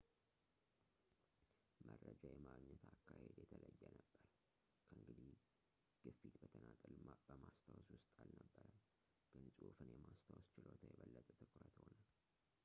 መረጃ የማግኘት አካሄድ የተለየ ነበር። ከእንግዲህ ግፊት በተናጠል በማስታወስ ውስጥ አልነበረም ፣ ግን ጽሑፍን የማስታወስ ችሎታ የበለጠ ትኩረት ሆነ